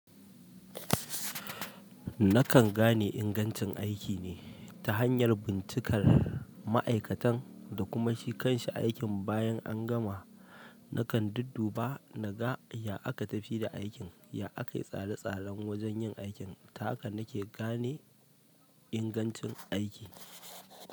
Na kan gane ingancin aiki ne ta hanyar bincikan ma'aikatan da kuma shi kan shi aikin bayan an gama na kan dudduba na ga ya aka tafi da aikin, ya aka yi tsare-tsaren wajen yin aikin, ta haka na ke gane ingancin aiki.